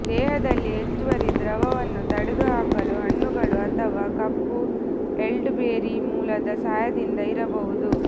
ದೇಹದಲ್ಲಿ ಹೆಚ್ಚುವರಿ ದ್ರವವನ್ನು ತೊಡೆದುಹಾಕಲು ಹಣ್ಣುಗಳು ಅಥವಾ ಕಪ್ಪು ಎಲ್ಡರ್ಬೆರಿ ಮೂಲದ ಸಹಾಯದಿಂದ ಇರಬಹುದು